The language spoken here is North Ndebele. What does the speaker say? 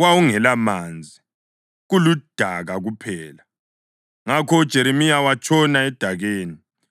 wawungelamanzi, kuludaka kuphela, ngakho uJeremiya watshona edakeni.